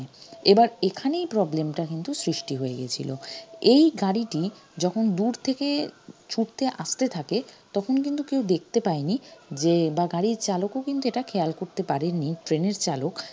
এবার এখানেই problem টা কিন্তু সৃষ্টি হয়ে গিয়েছিলো এই গাড়িটি যখন দূর থেকে ছুটতে আসতে থাকে তখন কিন্তু কেউ দেখতে পায়নি যে বা গাড়ির চালকও কিন্তু এটা খেয়াল করতে পারেনি train এর চালক